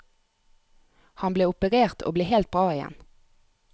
Han ble operert, og ble helt bra igjen.